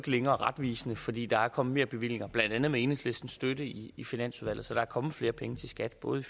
længere er retvisende fordi der er kommet merbevillinger blandt andet med enhedslistens støtte i i finansudvalget så der er kommet flere penge til skat både